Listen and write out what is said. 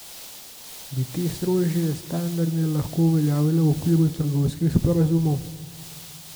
Bi te strožje standarde lahko uveljavila v okviru trgovinskih sporazumov?